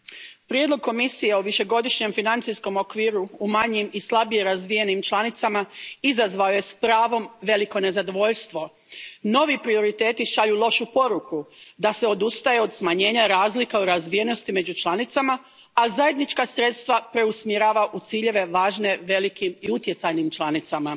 Poštovana predsjedavajuća, prijedlog Komisije o Višegodišnjem financijskom okviru u manjim i slabije razvijenim članicama izazvao je, s pravom, veliko nezadovoljstvo. Novi prioriteti šalju lošu poruku da se odustaje od smanjenja razlika u razvijenosti među članicama, a zajednička sredstva preusmjerava u ciljeve važne velikim i utjecajnim članicama.